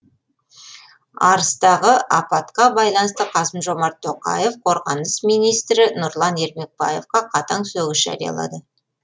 арыстағы апатқа байланысты қасым жомарт тоқаев қорғаныс министрі нұрлан ермекбаевқа қатаң сөгіс жариялады